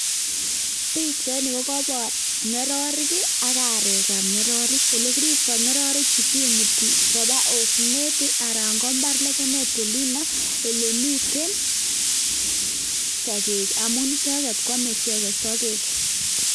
Pichaini kogobor ng'ororek ii ak arek ab ng'ororek. Ele kiripto ng'ororechu, kimuti koba osnet anan ko mbar legemet olino ele miten sogek, amun icheget koame icheget sogek.